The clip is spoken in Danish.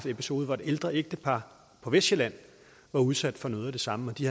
episode hvor et ældre ægtepar på vestsjælland var udsat for noget af det samme og de